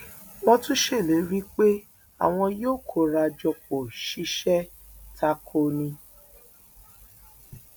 wọn tún ṣèlérí pé àwọn yóò kóra jọ pọ ṣiṣẹ ta kò ó ní